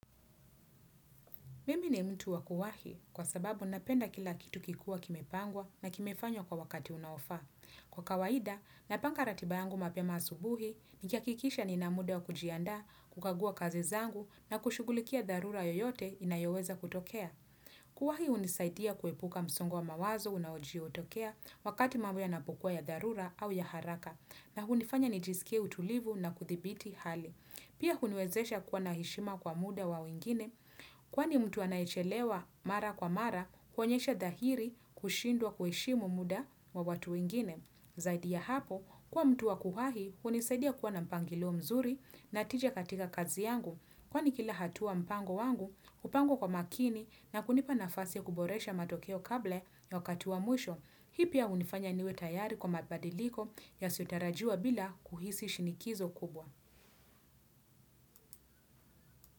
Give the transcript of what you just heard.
Mimi ni mtu wakuwahi kwa sababu napenda kila kitu kikiwa kimepangwa na kimefanywa kwa wakati unaofaa Kwa kawaida, napanga ratiba yangu mapema asubuhi, nikihakikisha nina muda wa kujiandaa, kukagua kazi zangu na kushughulikia dharura yoyote inayoweza kutokea. Kuwahi unisaidia kuhepuka msongo wa mawazo unaojitokea wakati mambo yanapokuwa ya dharura au ya haraka na unifanya nijisikie utulivu na kuthibiti hali. Pia huniwezesha kuwa na heshima kwa muda wa wengine, kwani mtu anayechelewa mara kwa mara, kuonyesha dhahiri kushindwa kuheshimu muda wa watu wengine. Zaidi ya hapo, kwa mtu wa kuwahi, unisaidia kuwa na mpangilio mzuri na tija katika kazi yangu, kwani kila hatua mpango wangu, upangwa kwa makini na kunipa nafasi kuboresha matokeo kabla ya wakati wa mwisho. Hii pia unifanya niwe tayari kwa mabadiliko yasiyotarajiwa bila kuhisi shinikizo kubwa.